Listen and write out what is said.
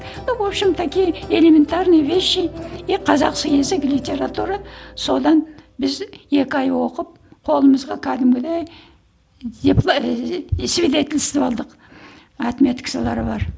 ну в общем такие элементарные вещи и литература содан біз екі ай оқып қолымызға кәдімгідей ііі свидетельство алдық отметкасылары бар